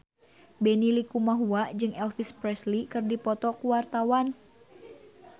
Benny Likumahua jeung Elvis Presley keur dipoto ku wartawan